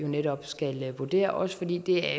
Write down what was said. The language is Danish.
netop skal vurdere også fordi det er